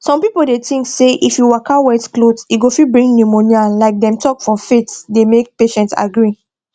some pipo dey tink say if you waka wet cloth e go fit bring pneumonia like dem talk for faith dey make patient agree